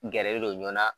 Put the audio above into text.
Gɛrɛlen don ɲɔn na